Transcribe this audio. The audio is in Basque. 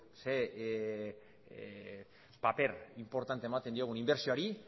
zein paper inportante ematen diogun inbertsioari